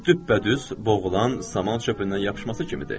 Bu düppədüz boğulan saman çöpündən yapışması kimidir.